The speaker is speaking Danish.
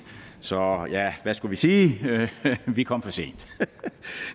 så ja hvad skulle vi sige vi kom for sent